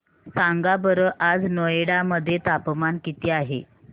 सांगा बरं आज नोएडा मध्ये तापमान किती आहे